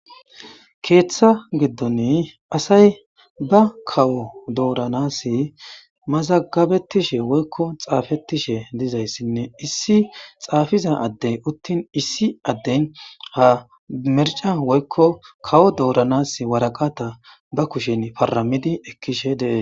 Keeththa giddon asay ba kawo dooranas mazagabettishe woykko xaafettishe dizayssinne issi xaafiza addey uttin issi adden ha merca woykko kawo dooranas waraqata ba kushen faramidi ekkishe dee.